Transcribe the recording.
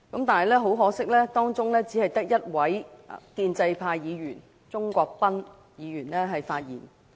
但是，很可惜，當中只有1位建制派議員——鍾國斌議員——發言。